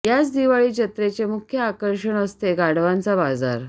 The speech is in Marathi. या दिवाळी जत्रेचे मुख्य आकर्षण असते गाढवांचा बाजार